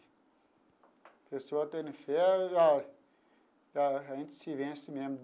A pessoa tendo fé, a a gente se vence mesmo.